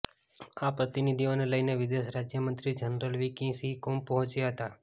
આ પ્રતિનિધિઓને લઈને વિદેશ રાજ્યમંત્રી general V K Singh Kumbh પહોંચ્યા હતાં